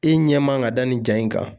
I ɲɛ man ka da nin ja in kan